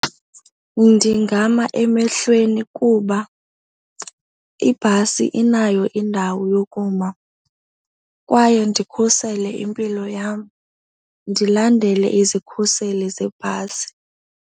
Ndingama emehlweni kuba ibhasi inayo indawo yokuma kwaye ndikhusele impilo yam, ndilandele izikhuseli zebhasi.